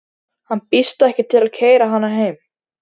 Hann býðst ekki til að keyra hana heim.